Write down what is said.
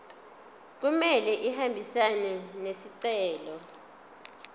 kumele ahambisane nesicelo